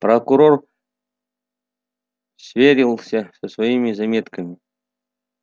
прокурор сверился со своими заметками